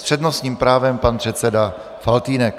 S přednostním právem pan předseda Faltýnek.